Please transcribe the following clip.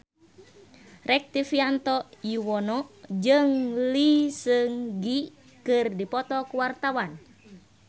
Rektivianto Yoewono jeung Lee Seung Gi keur dipoto ku wartawan